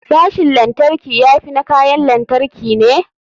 Sashin lantarki ya fi na kayan lantarki ne.